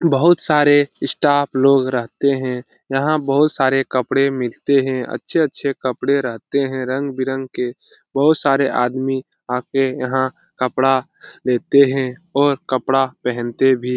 बहुत सारे स्टाफ लोग रहते हैं यहाँ बहुत सारे कपड़े मिलते हैं अच्छे-अच्छे कपड़े रहते हैं रंग-बिरंगे बहुत सारे आदमी आके यहाँ कपड़ा लेते हैं और कपड़ा पहनते भी --